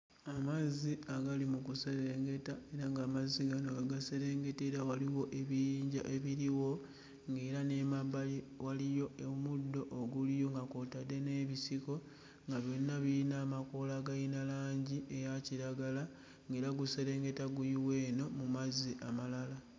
Amazzi agali mu kuserengeta era ng'amazzi gano agaserengetera waliwo ebiyinja ebiriwo ng'era n'emabbali waliyo omuddo oguliyo nga kw'otadde n'ebisiko nga byonna biyina amakoola agayina langi eya kiragala ng'era guserengeta guyiwa eno mu mazzi amalala.